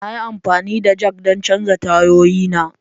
Na yi amfani da jack don canza tayoyina.